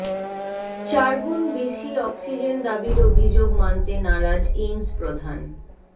চারগুণ বেশি অক্সিজেন দাবির অভিযোগ মানতে নারাজ এইমস প্রধান